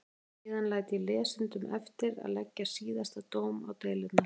Síðan læt ég lesendum eftir að leggja síðasta dóm á deilurnar.